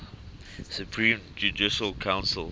supreme judicial council